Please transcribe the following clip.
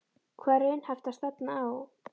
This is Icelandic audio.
Hvað er raunhæft að stefna á?